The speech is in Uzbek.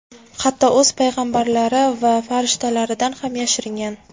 Hatto o‘z payg‘ambarlari va farishtalaridan ham yashirgan.